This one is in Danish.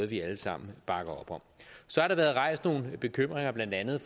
vi alle sammen bakker op om så har der været rejst nogle bekymringer blandt andet